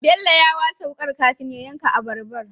Bello ya wasa wukar kafin ya yanka abarbar